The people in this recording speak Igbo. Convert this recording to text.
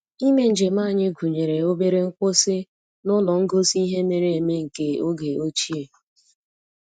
Ime njem anyị gụnyere obere nkwụsị n'ụlọ ngosi ihe mere eme nke oge ochie